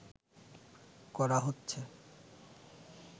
করা হচ্ছে